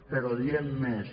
però diem més